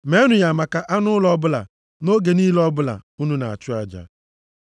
Meenụ ya maka anụ ụlọ ọbụla nʼoge niile ọbụla unu na-achụ aja.